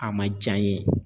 A man jaa n ye.